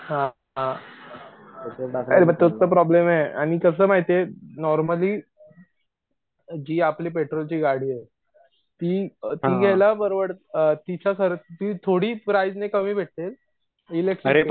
हा अरे मी तोच त प्रॉब्लेमे आणि कस माहितीये नॉर्मली जी आपली पेट्रोलची गाडीये ती घ्यायला परवडत तिच्या सरशी ती थोडी प्राईझ ने कामी भेटेल इलेकट्रीक पेक्षा